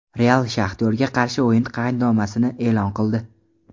"Real" "Shaxtyor"ga qarshi o‘yin qaydnomasini eʼlon qildi.